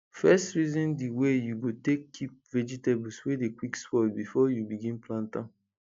first reason di way you go take keep vegetables wey dey quick spoil before you begin plant am